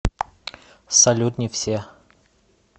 салют не все